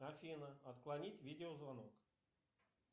афина отклонить видеозвонок